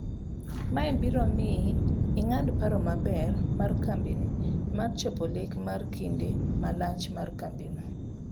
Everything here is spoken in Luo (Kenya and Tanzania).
Mae biro miyi ing'ad paro maber mar kambini mar chopo lek mar kinde malach mar kambino.